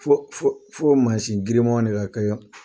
Fo fo fo mansin girimanw de ka kɛ